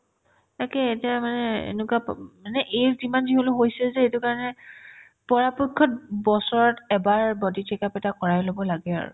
একেই এতিয়া মানে এনেকুৱা প অ মানে age যিমান যি হ'লেও হৈছে যে সেইটোৰ কাৰণে পৰাপক্ষত বছৰত এবাৰ body check up এটা কৰাই ল'ব লাগে আৰু